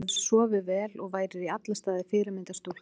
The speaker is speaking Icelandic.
Þú hefðir sofið vel og værir í alla staði fyrirmyndar stúlka.